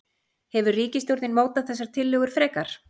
Hefur ríkisstjórnin mótað þessar tillögur frekar?